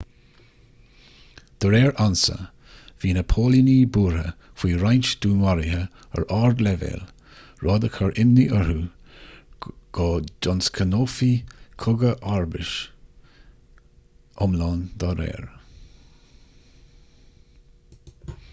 de réir ansa bhí na póilíní buartha faoi roinnt dúnmharuithe ar ardleibhéal rud a chur imní orthu go dtionscnófaí cogadh comharbais iomlán dá réir